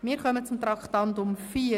Wir kommen zu Traktandum 4.